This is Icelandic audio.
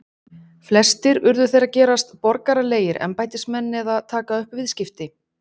flestir urðu þeir að gerast borgaralegir embættismenn eða taka upp viðskipti